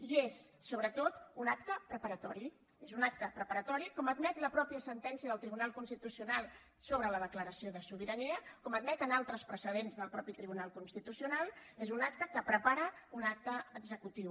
i és sobretot un acte preparatori és un acte preparatori com admet la mateixa sentència del tribunal constitucional sobre la declaració de sobirania com admet en altres precedents del mateix tribunal constitucional és un acte que prepara un acte executiu